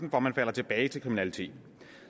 at man falder tilbage til kriminalitet